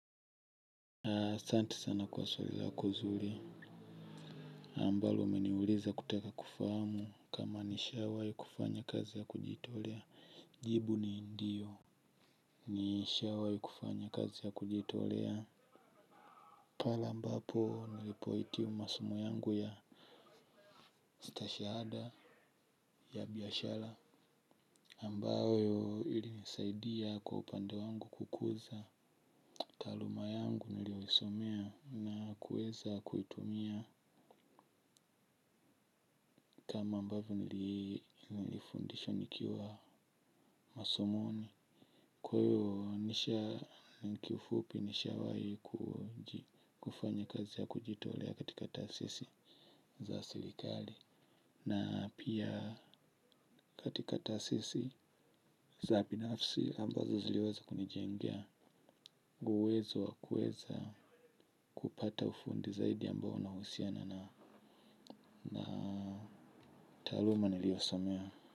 Asanti sana kwa swali lako nzuri ambalo umeniuliza kutaka kufahamu kama nishawahi kufanya kazi ya kujitolea jibu ni ndio nishawahi kufanya kazi ya kujitolea pale mbapo nilipohitimu masomu yangu ya stashahada ya biashara ambayo ilinisaidia kwa upande wangu kukuza taaluma yangu niliyoisomea na kuweza kuitumia kama ambavyo nilifundishwa nikiwa masomoni. Kwa hiyo kifupi nisha wahi kufanya kazi ya kujitolea katika taasisi za serikali na pia katika taasisi za binafsi ambazo ziliweza kunijengea uwezo wa kuweza kupata ufundi zaidi ambao na uhusiana na taaluma niliyosomea.